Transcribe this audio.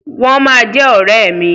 Wọ́n ma jẹ́ ọ̀rẹ́ mi.